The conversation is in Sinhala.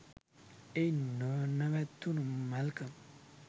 එයින් නොනැවතුනු මැල්කම්